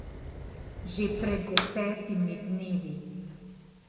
Že pred desetimi dnevi.